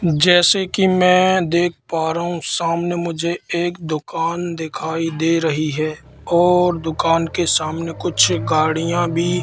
जैसे कि मैं देख पा रहा हूं सामने मुझे एक दुकान दिखाई दे रही है और दुकान के सामने कुछ गाड़ियां भी--